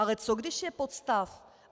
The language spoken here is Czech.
Ale co když je podstav?